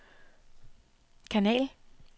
kanal